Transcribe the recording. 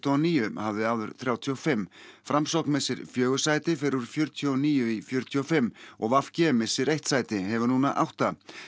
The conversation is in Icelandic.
og níu hafði áður þrjátíu og fimm framsókn missir fjögur sæti fer úr fjörutíu og níu í fjörutíu og fimm og v g missir eitt sæti hefur núna átta